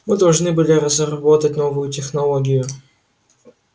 мы должны были разработать новую технологию